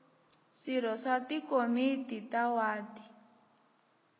swirho swa tikomiti ta wadi